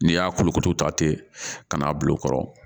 N'i y'a kolo koto ta ten ka n'a bil'o kɔrɔ